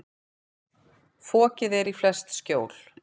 Fokið er í flest skjól.